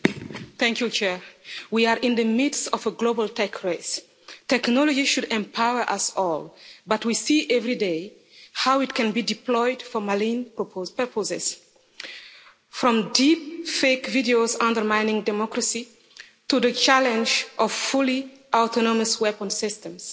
Madam President, we are in the midst of a global tech race. Technology should empower us all, but we see everyday how it can be deployed for malign purposes, from deep fake videos undermining democracy to the challenge of fully autonomous weapon systems.